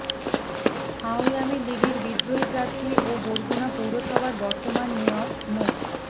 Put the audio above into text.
আওয়ামী লীগের বিদ্রোহী প্রার্থী ও বরগুনা পৌরসভার বর্তমান মেয়র মো